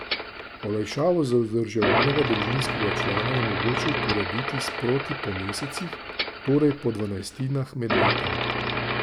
Olajšavo za vzdrževanega družinskega člana je mogoče uporabiti sproti po mesecih, torej po dvanajstinah med letom.